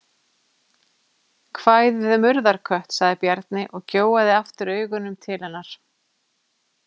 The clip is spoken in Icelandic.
Kvæðið um urðarkött, sagði Bjarni og gjóaði aftur augunum til hennar.